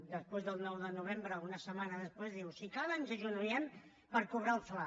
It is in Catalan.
després del nou de novembre o una setmana després diu si cal ens agenollem per cobrar el fla